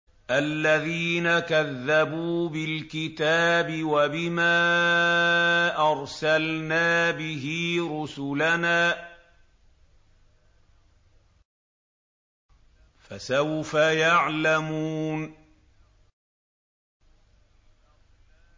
الَّذِينَ كَذَّبُوا بِالْكِتَابِ وَبِمَا أَرْسَلْنَا بِهِ رُسُلَنَا ۖ فَسَوْفَ يَعْلَمُونَ